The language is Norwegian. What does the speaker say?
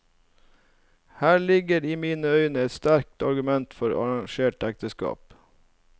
Her ligger i mine øyne et sterkt argument for arrangerte ekteskap.